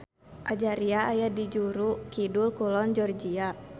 Ajaria aya di juru kidul-kulon Georgia.